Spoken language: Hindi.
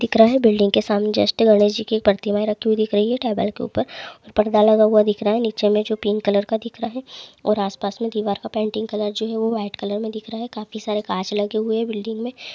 दिख रहा है बिल्डिंग के सामने जस्ट गणेश जी की प्रतिमाएं रखी हुई दिख रही है टेबल के ऊपर पर्दा लगा हुआ दिख रहा है नीचे में जो पिंक कलर का दिख रहा है और आसपास में दीवार का पेंटिंग कलर जो है वह वाइट कलर में दिख रहा है काफी सारे कांच लगे हुए बिल्डिंग में--